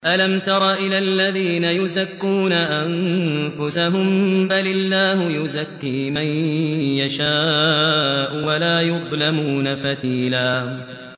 أَلَمْ تَرَ إِلَى الَّذِينَ يُزَكُّونَ أَنفُسَهُم ۚ بَلِ اللَّهُ يُزَكِّي مَن يَشَاءُ وَلَا يُظْلَمُونَ فَتِيلًا